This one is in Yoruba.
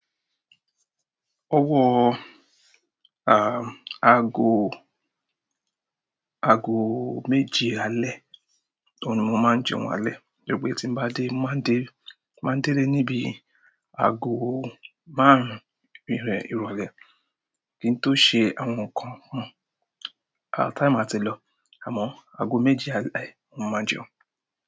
Ọwọ, à, aago, aago méje alẹ́, òun ni mo máa ń jẹun alẹ́. Tojẹ pe tín bá dé, mo máa ń dé, máa ń déle ní bíi aago márùn-ún ìpín rẹ̀ ìrọ̀lẹ́ kí n tó ṣe àwọn nǹkan mi. Àá time a ti lọ, àmọ́ aago méje alẹ́ ni mo máa jẹun.